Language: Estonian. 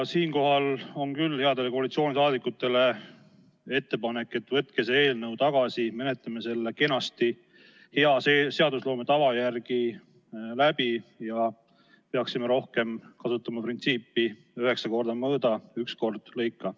Siinkohal on küll headele koalitsiooniliikmetele ettepanek: võtke see eelnõu tagasi, menetleme selle kenasti hea seadusloome tava järgi läbi ja me peaksime rohkem kasutama printsiipi "üheksa korda mõõda, üks kord lõika".